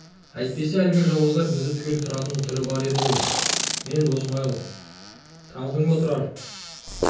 әйтпесе әлгі жауыздар бізді түгел қыратын түрі бар еді мен досмайыл ғой таныдың ба тұрар таныдым